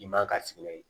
I man ka sigi